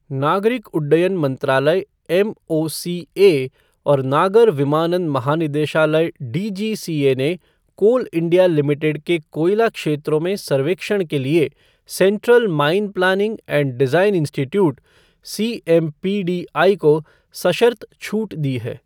नागरिक उड्डयन मंत्रालय एमओसीए और नागर विमानन महानिदेशालय डीजीसीए ने कोल इंडिया लिमिटेड के कोयला क्षेत्रों में सर्वेक्षण के लिए Central Mine Planning and Design Institute, CMPDI को सशर्त छूट दी है।